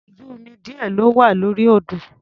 Ọkọ̀ ojú-omi díẹ̀ ló wà lórí odò.